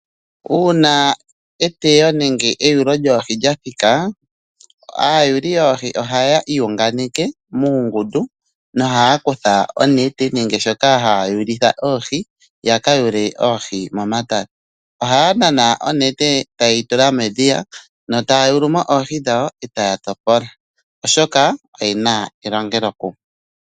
Uuna eteyo lyoohi nenge eyulo lyoohi lya thika aayuli yoohi ohaya iyunganeke muungundu nohaya kutha onete nenge shoka haya yulitha oohi ya ka yule oohi momatale. Ohaya nana onete e taye yi tula medhiya notaya yulu mo oohi dhawo e taya topola, oshoka oye na elongelokumwe.